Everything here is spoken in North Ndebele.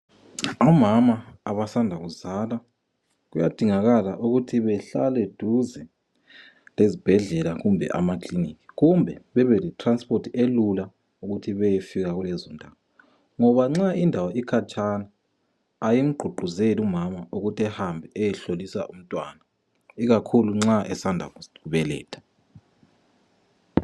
Omama abasanda kuzala kuyadingakala ukuthi behlale duze lezibhedlela, kumbe amakilinika kumbe babe letiransiphothi elula ukuthi bayefika kulezondawo, ngoba nxa indawo ukhatshana ayimgqugquzeli umama ukuthi ahambe ehlolisa umntwana ikakhulu nxa esanda kubeletha.